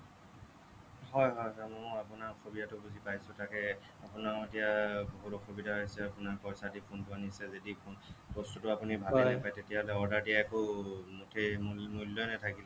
হ'য় হ'য় হ'য় মই আপোনাৰ অসুবিধাটো বুজি পাইছোঁ তাকে আপোনাৰো এতিয়া এৰ বহুত অসুবিধা হৈছে আপোনাৰ পইচা দি phone টো আনিছে যদি বস্তুটো আপুনি ভালেই নেপায় তেতিয়া হ'লে order দিয়া একো মুঠেই মূল্যই নাথাকিল